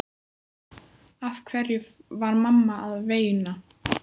Af hverju var mamma að veina?